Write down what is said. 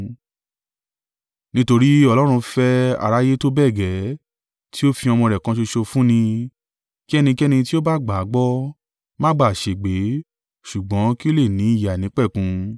“Nítorí Ọlọ́run fẹ́ aráyé tó bẹ́ẹ̀ gẹ́ẹ́, tí ó fi ọmọ rẹ̀ kan ṣoṣo fún ni, kí ẹnikẹ́ni tí ó bá gbà á gbọ́, má bà á ṣègbé, ṣùgbọ́n kí ó lè ní ìyè àìnípẹ̀kun.